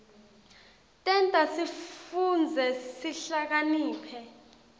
tenta sifundze sihlakaniphe